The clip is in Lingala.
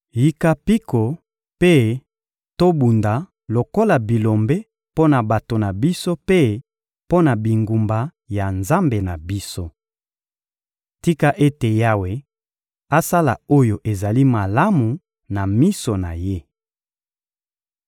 Yika mpiko, mpe tobunda lokola bilombe mpo na bato na biso mpe mpo na bingumba ya Nzambe na biso. Tika ete Yawe asala oyo ezali malamu na miso na Ye.»